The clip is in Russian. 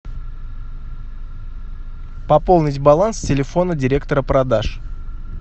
пополнить баланс телефона директора продаж